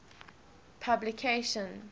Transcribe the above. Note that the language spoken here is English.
puplication